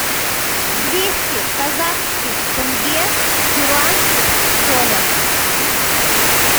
двести казахских тенге в перуанских солях